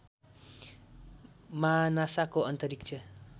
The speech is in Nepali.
मा नासाको अन्तरिक्ष